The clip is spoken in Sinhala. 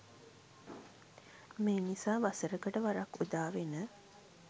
මේ නිසා වසරකට වරක් උදාවන